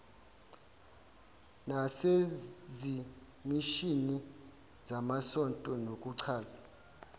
nasezimishini zamasonto nokuchaza